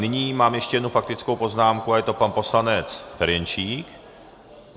Nyní mám ještě jednu faktickou poznámku a je to pan poslanec Ferjenčík.